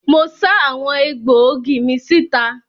Mo sá àwọn egbòogi mi síta.